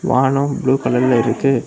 வானம் ப்ளூ கலர்ல இருக்கு.